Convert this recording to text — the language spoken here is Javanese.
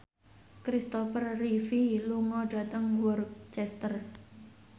Kristopher Reeve lunga dhateng Worcester